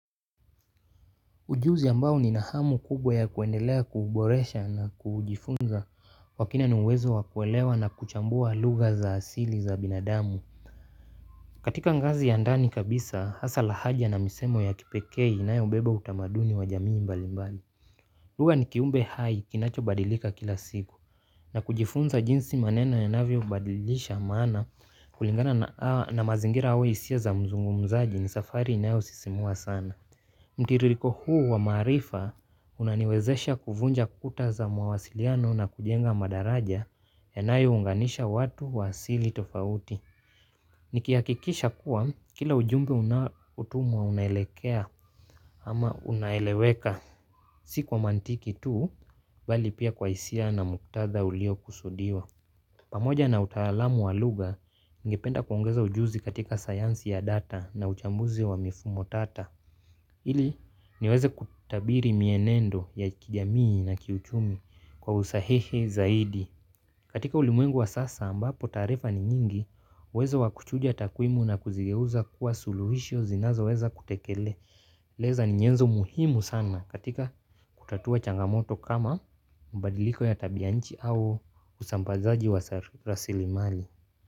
Ujuzi ambao nina hamu kubwa ya kuendelea kuuboresha na kujifunza kwa kina ni uwezo wa kuelewa na kuchambua lugha za asili za binadamu. Katika ngazi ya ndani kabisa hasa lahaja na misemo ya kipekee inayoubeba utamaduni wa jamii mbali mbali lugha ni kiumbe hai kinacho badilika kila siku na kujifunza jinsi maneno yanavyobadilisha maana kulingana na mazingira au hisia za mzungumzaji ni safari inayosisimua sana. Mtiririko huu wa maarifa unaniwezesha kuvunja kuta za mawasiliano na kujenga madaraja yanayounganisha watu wa asili tofauti. Nikihakikisha kuwa kila ujumbe unaotumwa unaelekea ama unaeleweka. Si kwa mantiki tu bali pia kwa hisia na muktadha uliokusudiwa. Pamoja na utaalamu wa lugha, nigependa kuongeza ujuzi katika sayansi ya data na uchambuzi wa mifumo tata. Ili niweze kutabiri mienendo ya kijamii na kiuchumi kwa usahihi zaidi. Katika ulimwengu wa sasa ambapo taarifa ni nyingi, uwezo wa kuchuja takwimu na kuzigeuza kuwa suluhisho zinazoweza kutekele. Leza ni nyenzo muhimu sana katika kutatua changamoto kama mbadiliko ya tabianchi au usambazaji wa rasilimali.